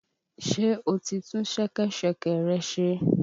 Ṣé o ti tún ṣẹkẹ́ṣẹkẹ̀ rẹ ṣe?